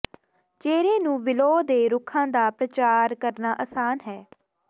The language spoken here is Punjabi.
ਚਿਹਰੇ ਨੂੰ ਵਿਲੋ ਦੇ ਰੁੱਖਾਂ ਦਾ ਪ੍ਰਚਾਰ ਕਰਨਾ ਆਸਾਨ ਹੈ